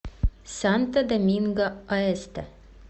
санто доминго оэсте